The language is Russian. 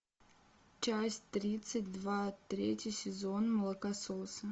часть тридцать два третий сезон молокососы